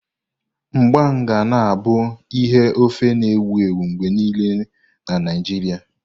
Mgbam ga na abụ ihe ofe na-ewu ewu mgbe niile na Naijiria.